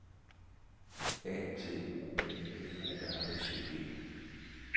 A T O M F O R S Ø G